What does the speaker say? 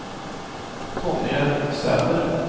Tonje Sæther